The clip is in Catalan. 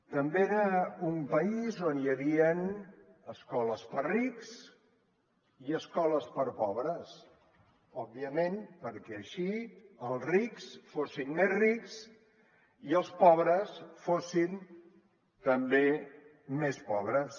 també era un país on hi havien escoles per a rics i escoles per a pobres òbviament perquè així els rics fossin més rics i els pobres fossin també més pobres